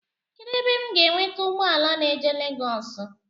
Kedụ ebe m ga enweta ụgbọala na-eje Legoosi?